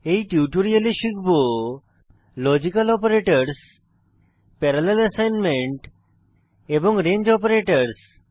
এই টিউটোরিয়ালে শিখব লজিক্যাল অপারেটরসহ প্যারালেল অ্যাসাইনমেন্ট এবং রেঞ্জ অপারেটরসহ